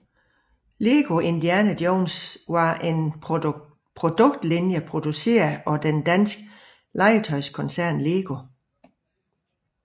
Lego Indiana Jones var en produktlinje produceret af den danske legetøjskoncern LEGO